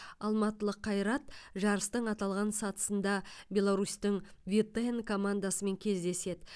алматылық қайрат жарыстың аталған сатысында беларусьтің витэн командасымен кездеседі